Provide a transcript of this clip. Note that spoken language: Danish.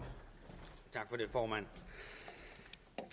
hvor man